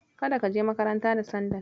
Kada ka je makaranta da sandal.